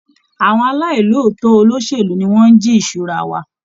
Àwọn aláì lòótọ́ olóṣèlú ni wọ́n ń jí ìṣura wa.